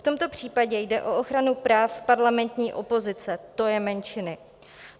V tomto případě jde o ochranu práv parlamentní opozice, to je menšiny.